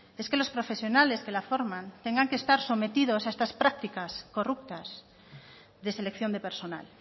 es que los profesionales que la forman tengan que estar sometidos a esta prácticas corruptas de selección de personal